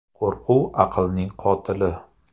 Qo‘rquv aqlning qotili.